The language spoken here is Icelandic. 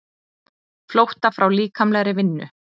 Flótta frá líkamlegri vinnu.